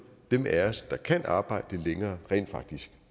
dem af os der kan arbejde længere rent faktisk